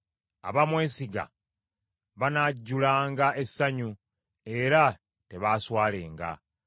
Abamwesiga banajjulanga essanyu, era tebaaswalenga.